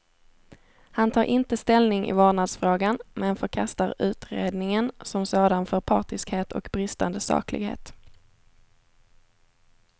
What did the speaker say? Han tar inte ställning i vårdnadsfrågan, men förkastar utredningen som sådan för partiskhet och bristande saklighet.